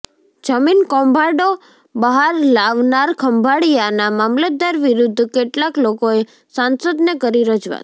જમીન કૌભાંડો બહાર લાવનાર ખંભાળિયાનાં મામતલદાર વિરૂદ્ધ કેટલાક લોકોએ સાંસદને કરી રજૂઆત